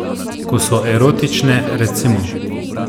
Ko so erotične, recimo.